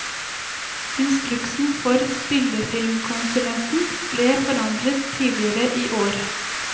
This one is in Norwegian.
Instruksen for spillefilmkonsulenten ble forandret tidligere i år.